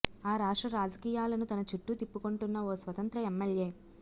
ఆ రాష్ట్ర రాజకీయాలను తన చుట్టూ తిప్పుకొంటున్న ఓ స్వతంత్ర ఎమ్మెల్యే